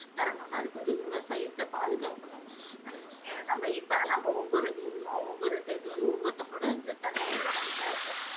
தரணும்னா அதுக்கு வந்து விவசாயத்தை பாதுகாக்கணும். ஹம் நம்ம இப்ப நம்ம ஒவ்வொரு ஹம் ஒவ்வொரு இது வந்து ஒவ்வொருத்தங்களோட தலையாய கடமையா இருக்கும்.